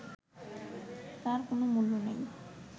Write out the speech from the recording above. তার কোনও মূল্য নেই